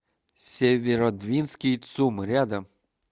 северодвинский цум рядом